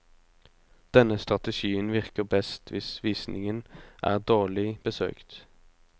Denne strategien virker best hvis visningen er dårlig besøkt.